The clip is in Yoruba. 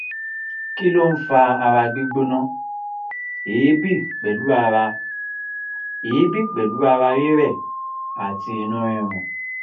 kí ló ń fa ara gbigbona eebi pelu ara eebi pelu ara rire ati inu rirun?